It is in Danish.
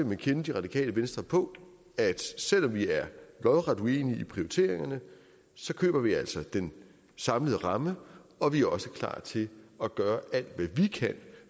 man kende det radikale venstre på at selv om vi er lodret uenige i prioriteringen køber vi altså den samlede ramme og vi er også klar til at gøre alt hvad vi kan